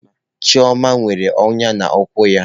Chioma nwere ọnya n'ụkwụ ya.